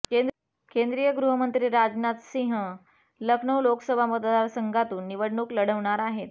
केंद्रीय गृहमंत्री राजनाथ सिंह लखनौ लोकसभा मतदार संघातून निवडणूक लढवणार आहेत